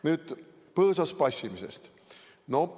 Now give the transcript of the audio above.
Nüüd põõsas passimisest.